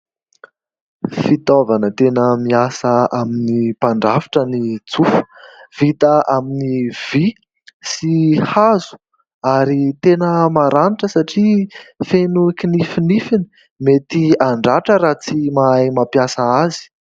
Fitaovana tena miasa amin'ny mpandrafitra ny tsofa, vita amin'ny vy sy hazo ary tena maranitra satria feno kinifinifiny, mety handratra raha tsy mahay mampiasa azy.